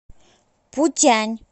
путянь